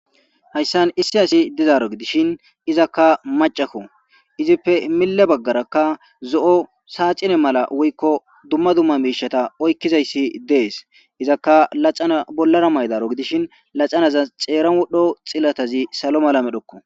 Hayssan issi asi dizaro gidishin izakka maccako, izippe mille bagaarakka zo'o saaxine mala woykko dumma dumma miishata oykizaysi dees; izakka laxana bollara mayidaro gidishin laxanazas xeeran wodhdho xilatazi salo mala medhoko.